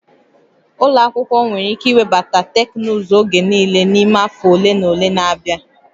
Ụlọ akwụkwọ nwere ike iwebata teknụzụ oge niile n'ime afọ ole na ole na-abịa